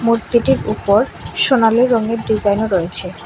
মূর্তিটির উপর সোনালি রঙের ডিজাইনও রয়েছে।